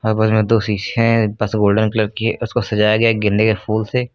बस में दो शीशे है बस गोल्डन कलर की है उसको सजाया गया है गेंदे के फूल से।